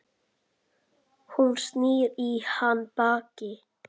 Hún snýr í hann baki.